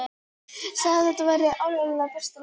Sagði að þetta væri áreiðanlega besta lausnin.